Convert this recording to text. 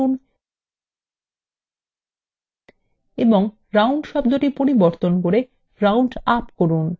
ফলাফলের cellএ click করুন এবং রাউন্ড শব্দটি পরিবর্তন করে রাউন্ড –আপ করুন